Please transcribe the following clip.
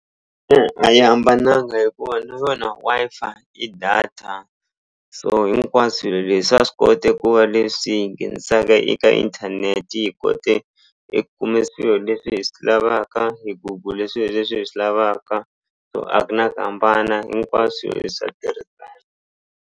a yi hambananga hikuva na yona Wi-Fi i data so hinkwaswo swilo leswi swaa swi kota ku va leswi hi nghenisaka eka inthanete hi kote eku kume swilo leswi hi swi lavaka hi gugule swilo leswi hi swi lavaka so a ku na ku hambana hinkwaswo i swa .